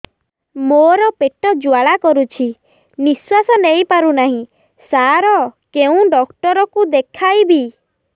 ମୋର ପେଟ ଜ୍ୱାଳା କରୁଛି ନିଶ୍ୱାସ ନେଇ ପାରୁନାହିଁ ସାର କେଉଁ ଡକ୍ଟର କୁ ଦେଖାଇବି